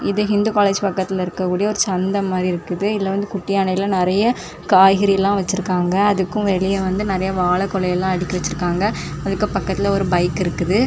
இது இந்து காலேஜ் பக்கத்துல இருக்கக்கூடிய ஒரு சந்தை மாரி இருக்குது இதுல வந்து குட்டி யானைல நிறைய காய்கறி எல்லாம் வச்சிருக்காங்க அதுக்கும் வெளியில வந்து நிறைய வாழ கொழை எல்லாம் அடுக்கி வச்சிருக்காங்க அதுக்கு பக்கத்துல ஒரு பைக் இருக்குது.